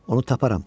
Onu taparam.